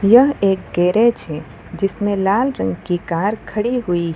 यह एक गैरेज हैं जिसमें लाल रंग की कार खड़ी हुईं --